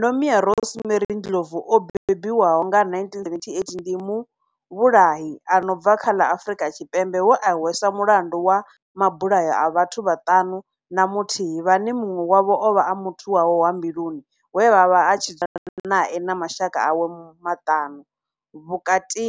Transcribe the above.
Nomia Rosemary Ndlovu o bebiwaho nga, 1978, ndi muvhulahi a no bva kha ḽa Afrika Tshipembe we a hweswa mulandu wa mabulayo a vhathu vhaṱanu na muthihi vhane munwe wavho ovha a muthu wawe wa mbiluni we avha a tshi dzula nae na mashaka awe maṱanu, vhukati